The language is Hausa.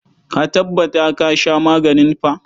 Ka tabbata ka sha maganin fa.